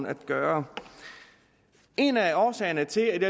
at gøre en af årsagerne til at vi